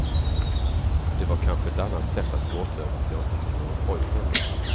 Det var kanske ett annat sätt att gråta över att jag inte hade någon pojkvän då.